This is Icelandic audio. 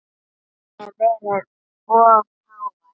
Hef verið of hávær.